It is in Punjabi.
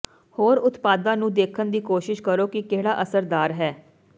ਹੋਰ ਉਤਪਾਦਾਂ ਨੂੰ ਦੇਖਣ ਦੀ ਕੋਸ਼ਿਸ਼ ਕਰੋ ਕਿ ਕਿਹੜਾ ਅਸਰਦਾਰ ਹੈ